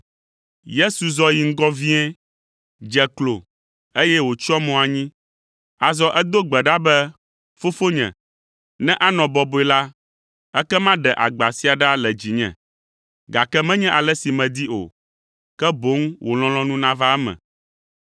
Yesu zɔ yi ŋgɔ vie, dze klo, eye wòtsyɔ mo anyi. Azɔ edo gbe ɖa be, “Fofonye, ne anɔ bɔbɔe la, ekema ɖe agba sia ɖa le dzinye. Gake menye ale si medi o, ke boŋ wò lɔlɔ̃nu nava eme.”